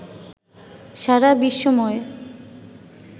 সারা বিশ্বময়